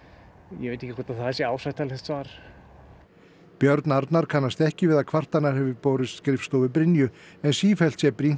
ég veit ekki hvort að það sé ásættanlegt svar björn Arnar kannast ekki við að kvartanir hafi borist skrifstofu Brynju en sífellt sé brýnt